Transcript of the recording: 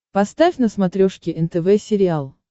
поставь на смотрешке нтв сериал